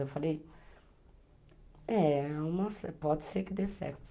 Eu falei, é, pode ser que dê certo.